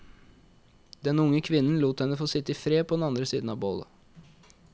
Den unge kvinnen lot henne få sitte i fred på den andre siden av bålet.